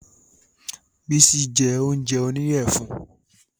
Bísí je oúnjẹ oníyẹ funfun